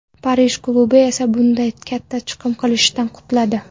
Parij klubi esa bunday katta chiqim qilishdan qutuladi.